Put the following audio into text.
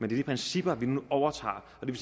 de principper vi nu overtager det